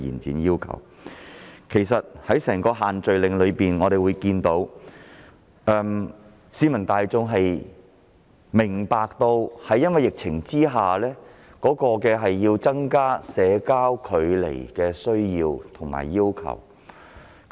就整項限聚令，市民大眾明白在疫情下有增加社交距離的需要，故有此要求。